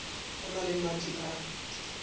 o na le madi a